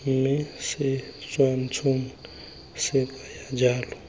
mme setshwantsho se kaya jalo